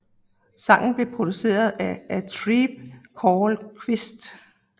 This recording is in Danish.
Sangen blev produceret af A Tribe Called Quest